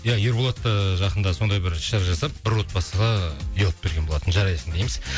иә ерболат ыыы жақында сондай бір іс шара жасап бір отбасыға үй алып берген болатын жарайсың дейміз